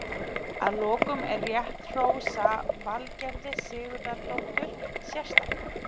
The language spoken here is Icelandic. Að lokum er rétt hrósa Valgerði Sigurðardóttur sérstaklega.